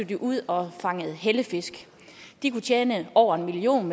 de ud og fanger hellefisk de kan tjene over en million